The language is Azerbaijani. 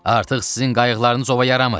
Artıq sizin qayıqlarınız ova yaramır.